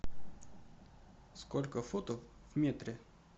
сколько футов в метре